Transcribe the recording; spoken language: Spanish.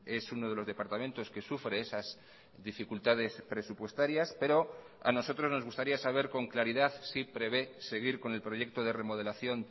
es uno de los departamentos que sufre esas dificultades presupuestarias pero a nosotros nos gustaría saber con claridad si prevé seguir con el proyecto de remodelación